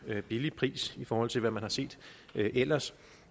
billig pris i forhold til hvad man har set ellers